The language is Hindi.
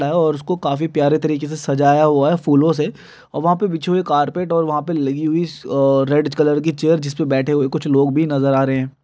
और उसको काफी प्यारे तरीके से सजाया हुआ है फूलों से और वहाँ पर बिछी हुई कारपेट और वहाँ पर लगी हुई स अ रेड कलर की चेयर जिस पर बैठे हुए कुछ लोग भी नज़र आ रह हैं।